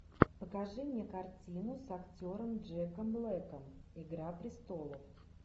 покажи мне картину с актером джеком блэком игра престолов